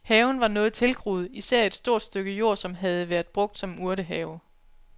Haven var noget tilgroet, især et stort stykke jord, som havde været brugt som urtehave.